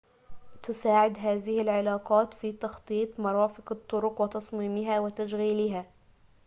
تساعد هذه العلاقات في تخطيط مرافق الطرق وتصميمها وتشغيلها